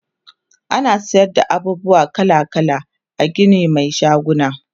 ana sayar da abubuwa kala kala a Gini Mai shaguna